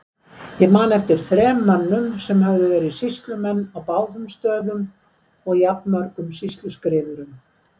Ég man eftir þrem mönnum sem höfðu verið sýslumenn á báðum stöðum og jafnmörgum sýsluskrifurum.